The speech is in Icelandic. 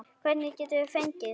Hvern getum við fengið?